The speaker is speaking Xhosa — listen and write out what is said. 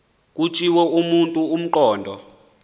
kutshiwo kumntu ongqondo